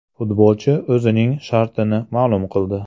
Futbolchi o‘zining shartini ma’lum qildi.